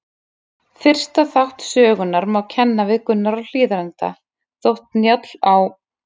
Fyrsta þátt sögunnar má kenna við Gunnar á Hlíðarenda, þótt Njáll á